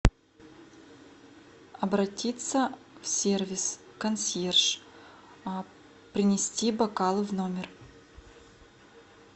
обратиться в сервис консьерж принести бокалы в номер